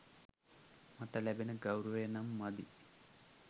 මට ලැබෙන ගෞරවය නම් මදි.